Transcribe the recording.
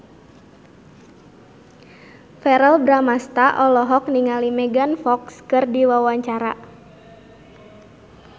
Verrell Bramastra olohok ningali Megan Fox keur diwawancara